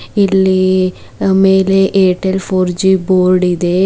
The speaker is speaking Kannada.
ಇಲ್ಲಿ ಆ-ಮೇಲೆ ಏರ್ಟೆಲ್ ಫೋರ್ ಜಿ ಬೋರ್ಡ್ ಇದೆ.ಮೇ --